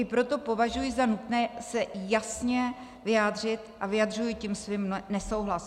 I proto považuji za nutné se jasně vyjádřit a vyjadřuji tím svůj nesouhlas.